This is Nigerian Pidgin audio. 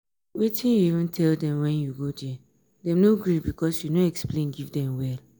wetin you even tell dem when you go there? dem no gree because you no explain give dem well